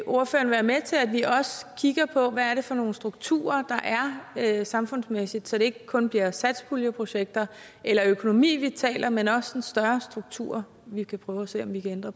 ordføreren være med til at vi også kigger på hvad det er for nogle strukturer der er samfundsmæssigt så det ikke kun bliver satspuljeprojekter eller økonomi vi taler men også en større struktur vi kan prøve at se om vi kan ændre